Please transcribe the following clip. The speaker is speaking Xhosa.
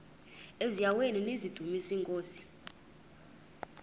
eziaweni nizidumis iinkosi